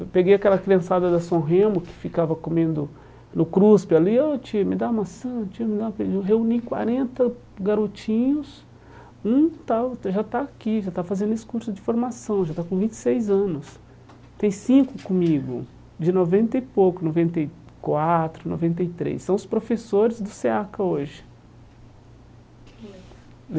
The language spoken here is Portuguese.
Eu peguei aquela criançada da São Remo que ficava comendo no cruspe ali, ó tio, me dá uma maçã, tio me dá reuni quarenta garotinhos, um tal está já está aqui, já tá fazendo esses cursos de formação, já tá com vinte e seis anos, tem cinco comigo, de noventa e pouco, noventa e quatro, noventa e três, são os professores do SEAC hoje.